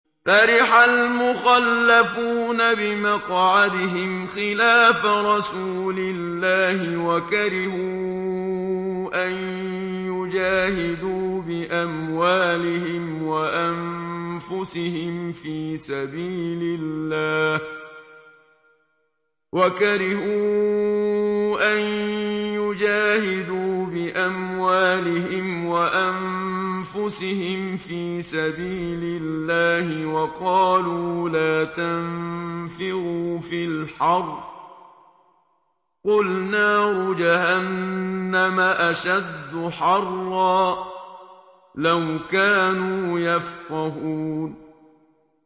فَرِحَ الْمُخَلَّفُونَ بِمَقْعَدِهِمْ خِلَافَ رَسُولِ اللَّهِ وَكَرِهُوا أَن يُجَاهِدُوا بِأَمْوَالِهِمْ وَأَنفُسِهِمْ فِي سَبِيلِ اللَّهِ وَقَالُوا لَا تَنفِرُوا فِي الْحَرِّ ۗ قُلْ نَارُ جَهَنَّمَ أَشَدُّ حَرًّا ۚ لَّوْ كَانُوا يَفْقَهُونَ